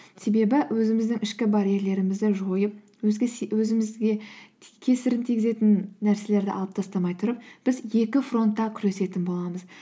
себебі өзіміздің ішкі барьерлерімізді жойып өзімізге кесірін тигізетін нәрселерді алып тастамай тұрып біз екі фронтта күресетін боламыз